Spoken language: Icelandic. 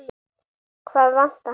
Hvað vantar hana?